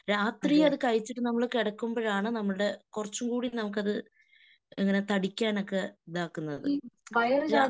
രാത്രി അത് കഴിച്ചിട്ട് നമ്മള് കിടാകുമ്പോഴാണ് നമ്മടെ കുറച്ചുംകൂടി നമുക്കത് ഇങ്ങനെ താടിക്കാനൊക്കെ ഇതാക്കുന്നത്. രാ